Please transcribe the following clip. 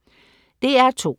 DR2: